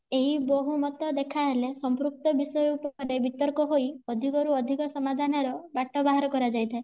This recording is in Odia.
ଏହି ବୋହୁମତ ଦେଖାହେଲେ ସମ୍ପୃକ୍ତ ବିଷୟ ଉପରେ ବିତର୍କ ହୋଇ ଅଧିକ ରୁ ଅଧିକ ସମାଧାନ ର ବାଟ ବାହାର କରାଯାଇଥାଏ